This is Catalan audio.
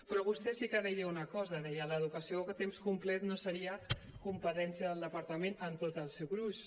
però vostè sí que deia una cosa deia l’educació a temps complet no seria competència del departament en tot el seu gruix